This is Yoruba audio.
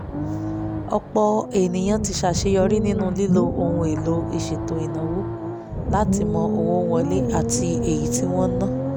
ọ̀pọ̀ èèyàn ti ṣàṣeyọrí nínú lílo ohun èlò ìṣètò ìnáwó láti mọ owó wọlé àti èyí tí wọ́n ń ná